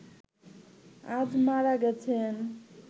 আজ মারা গেছেন